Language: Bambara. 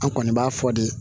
An kɔni b'a fɔ de